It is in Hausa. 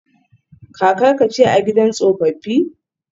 Kakarka ce a gidan tsofaffi?